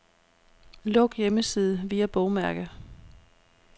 Luk hjemmeside via bogmærke.